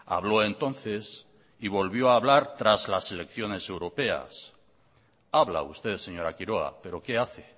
habló entonces y volvió a hablar tras las elecciones europeas habla usted señora quiroga pero qué hace